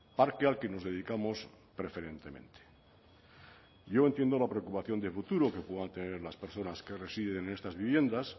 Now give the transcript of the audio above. parque al que nos dedicamos preferentemente yo entiendo la preocupación de futuro que puedan tener las personas que residen en estas viviendas